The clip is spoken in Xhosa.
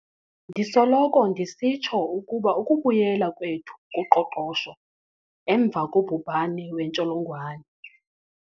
Ndisoloko ndisitsho ukuba ukubuyela kwethu kuqoqosho emva kobhubhane wentsholongwane.